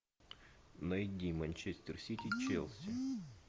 найди манчестер сити челси